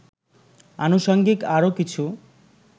আনুষঙ্গিক আরও কিছু